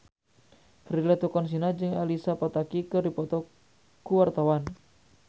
Prilly Latuconsina jeung Elsa Pataky keur dipoto ku wartawan